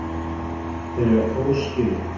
Þeir eiga hrós skilið.